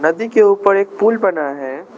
नदी के ऊपर एक पूल बना है।